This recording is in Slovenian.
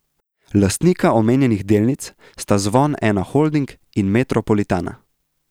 Lastnika omenjenih delnic sta Zvon Ena Holding in Metropolitana.